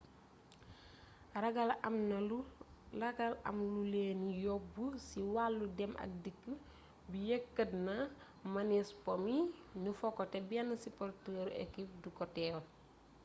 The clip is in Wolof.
ragal am lu leeni yóbb ci wàllu dem ak dikk bi yëkkatna mënees po mi nu fo ko te benn siporteeru ekip du ko teewe